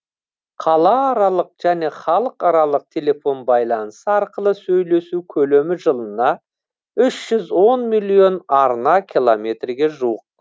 қалааралық және халықаралық телефон байланысы арқылы сөйлесу көлемі жылына үш жүз он миллион арна километрге жуық